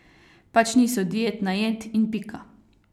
Pač niso dietna jed in pika.